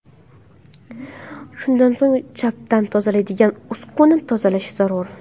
Shundan so‘ng changdan tozalaydigan uskunada tozalash zarur.